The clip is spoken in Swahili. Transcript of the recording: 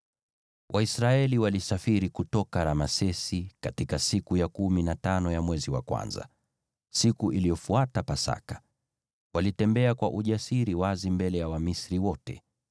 Waisraeli walisafiri kutoka Ramesesi katika siku ya kumi na tano ya mwezi wa kwanza, siku iliyofuata Pasaka. Walitembea kwa ujasiri wazi mbele ya Wamisri wote,